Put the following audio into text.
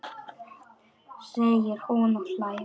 segir hún og hlær.